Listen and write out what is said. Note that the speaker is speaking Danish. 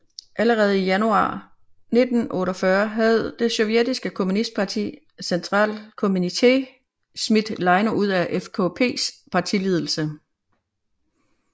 Allerede i januar 1948 havde det sovjetiske kommunistpartis centralkommité smidt Leino ud af FKPs partiledelse